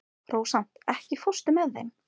Rósant, ekki fórstu með þeim?